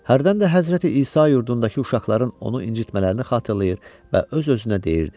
Hərdən də Həzrəti İsa yurdundakı uşaqların onu incitmələrini xatırlayır və öz-özünə deyirdi: